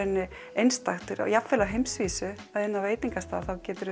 einstakt jafnvel á heimsvísu að inn á veitingastað